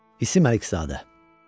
İsim Əlizadə.